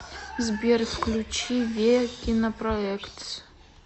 сбер включи ве кинопроектс